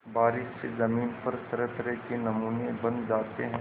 बारिश से ज़मीन पर तरहतरह के नमूने बन जाते हैं